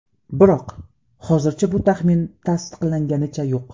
Biroq hozircha bu taxmin tasdiqlanganicha yo‘q.